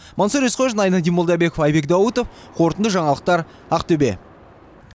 мансұр есқожин айнадин молдабеков айбек даутов қорытынды жаңалықтар ақтөбе